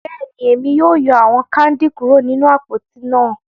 Bẹ́ẹ̀ni, Emi yóò yọ awọn kandi kuro ninu apoti náà